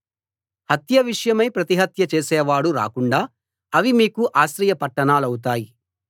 హత్య విషయమై ప్రతిహత్య చేసేవాడు రాకుండా అవి మీకు ఆశ్రయ పట్టణాలవుతాయి